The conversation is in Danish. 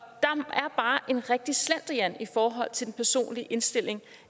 er bare en rigtig slendrian i forhold til den personlige indstilling